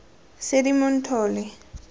seedimonthole